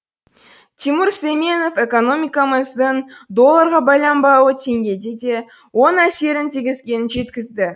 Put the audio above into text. тимур сүлейменов экономикамыздың долларға байланбауы теңгеге де оң әсерін тигізгенін жеткізді